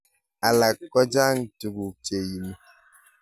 Alak kochang tukuk cheimi.